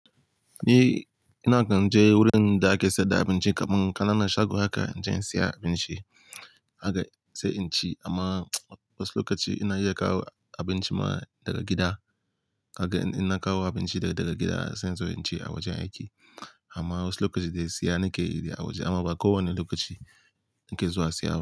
Ni ina kan je wurin da ake sayar da abinci kamun, kana nan shago haka zan je in siya abinci, haka sai in ci amma wasu lokaci ina iya kawo abinci ma daga gida. Haka ina kawo abinci daga gida sai in zo in ci a wajen aiki. Amma wasu lokaci dai siya nike yi a waje amma ba kowane lokaci nake zuwa siya ba.